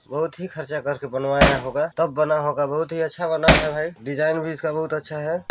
बहुत ही खर्चा करके बनवाया होगा तब बना होगा बहुत ही अच्छा बना है भाई डिजाइन भी इसका बहुत अच्छा है।